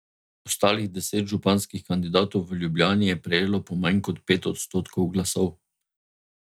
Ostalih deset županskih kandidatov v Ljubljani je prejelo po manj kot pet odstotkov glasov.